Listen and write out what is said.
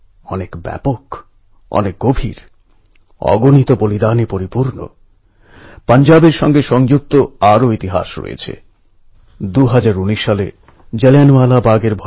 কিন্তু কখনও কখনও সময়ের জন্য দূরত্বের জন্য কখনও বা পরিস্থিতির জন্য তার ওপর হাল্কা একটা পর্দা পড়ে যায়